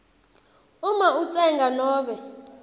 uma utsenga nobe